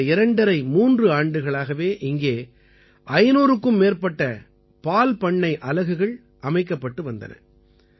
கடந்த 2½ 3 ஆண்டுகளாகவே இங்கே 500க்கும் மேற்பட்ட பால்பண்ணை அலகுகள் அமைக்கப்பட்டு வந்தன